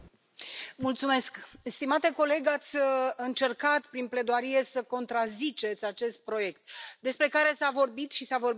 Stimate coleg, ați încercat prin pledoarie să contraziceți acest proiect despre care s a vorbit și s a vorbit bine și corect.